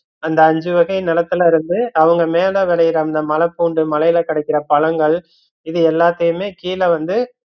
அந்த அஞ்சு வகை நிலத்துல இருந்து அவுங்க மேல விளையற அந்த மலைப்பூண்டு, மலைல கிடைக்குற பழங்கள் இத எல்லாத்தையுமே கீழ வந்து